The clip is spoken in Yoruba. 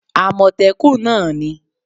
amotekun náà ni